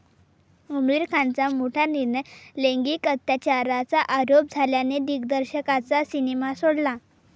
आमिर खानचा मोठा निर्णय, लैंगिक अत्याचाराचा आरोप झालेल्या दिग्दर्शकाचा सिनेमा सोडला